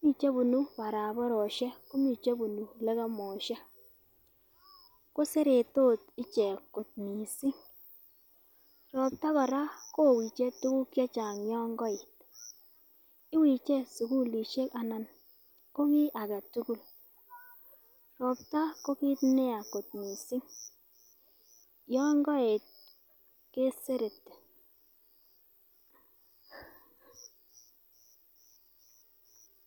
mii chebunu barabaroshek komii chebunu lekemoshek koseretos ichek kot missing. Ropta Koraa kowichek tukuk chechang yon koet, iwiche sukulishek ana ko kit agetukul, ropta ko kit neya kot missing yon koet kesereti.